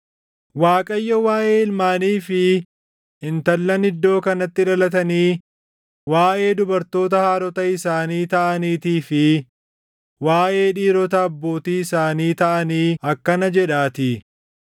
Waaqayyo waaʼee ilmaanii fi intallan iddoo kanatti dhalatanii, waaʼee dubartoota haadhota isaanii taʼaniitii fi waaʼee dhiirota abbootii isaanii taʼanii akkana jedhaatii: